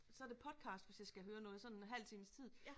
Så det podcast hvis jeg skal høre noget sådan halv times tid